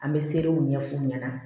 An bɛ serew ɲɛf'u ɲɛna